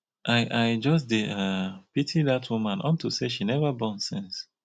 i i just dey um pity dat woman unto say she never born since